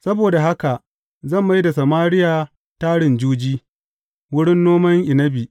Saboda haka zan mai da Samariya tarin juji, wurin noman inabi.